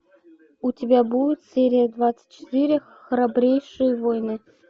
у тебя будет серия двадцать четыре храбрейшие воины